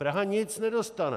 Praha nic nedostane!